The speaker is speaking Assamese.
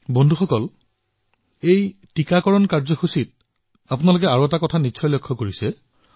বন্ধুসকল এই প্ৰতিষেধক কাৰ্যসূচীত আপোনালোকে আন এটা কথাত বিশেষভাৱে ধ্যান দিছে বোধহয়